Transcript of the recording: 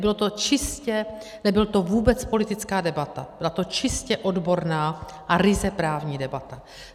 Byla to čistě - nebyla to vůbec politická debata, byla to čistě odborná a ryze právní debata.